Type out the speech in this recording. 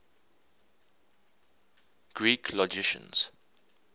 greek logicians